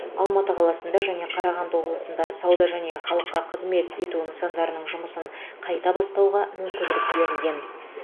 алматы қаласында және қарағанды облысында сауда және халыққа қызмет ету нысандарының жұмысын қайта бастауға мүмкіндік берілген